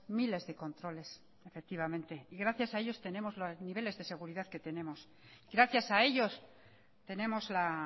miles de controles efectivamente gracias a ellos tenemos los niveles de seguridad que tenemos gracias a ellos tenemos la